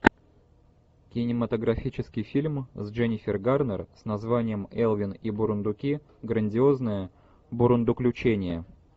кинематографический фильм с дженнифер гарнер с названием элвин и бурундуки грандиозное бурундуключение